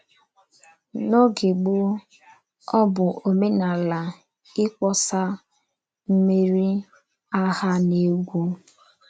N’ógè gbòó, ọ̀ bụ òmènàlà íkpọ̀sà mmèrí àghà na ègwú.